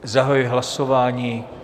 Zahajuji hlasování.